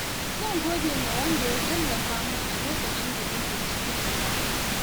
Zan gode wa wanda ya tallafa min a lokacin da nake cikin wahala.